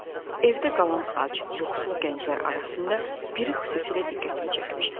Evdə qalan ac, yuxusuz gənclər arasında biri xüsusilə diqqətimi çəkmişdi.